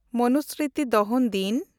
ᱢᱚᱱᱩᱥᱢᱨᱤᱛᱤ ᱫᱚᱦᱚᱱ ᱫᱤᱱ